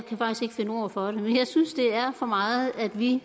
finde ord for det men jeg synes det er for meget at vi